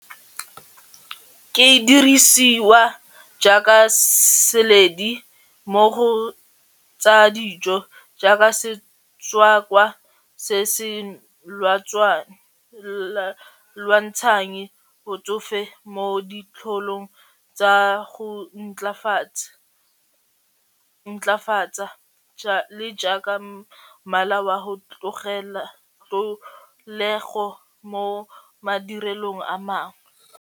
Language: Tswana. Ke dirisiwa jaaka seledi mo go tsa dijo jaaka setswakwa se se lwantshang botsofe mo ditlholong tsa go ntlafatsa le jaaka mmala wa go mo madirelong a mangwe.